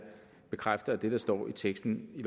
bekræfter at det der står i teksten i